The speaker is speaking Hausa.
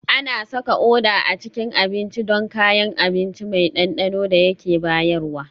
Ana saka Uda a cikin abinci don kayan abinci mai ɗanɗanon da yake bayarwa